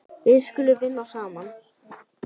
Við skulum vinna saman.